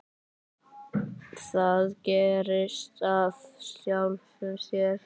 Það gerist af sjálfu sér.